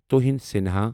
تُوہنۍ سنِہا